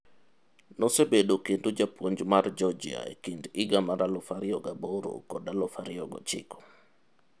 Nosebedo kendo japuonj mar Georgia e kind higa mar 2008 kod 2009.